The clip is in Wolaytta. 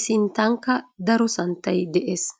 I sinttankka daro santtay de'ees.